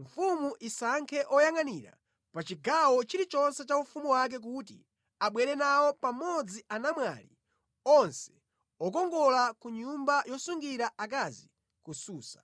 Mfumu isankhe oyangʼanira pa chigawo chilichonse cha ufumu wake kuti abwere nawo pamodzi anamwali onse okongola ku nyumba yosungira akazi ku Susa.